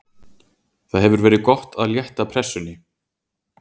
Það hefur verið gott að létta pressunni.